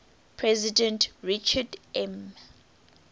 president richard m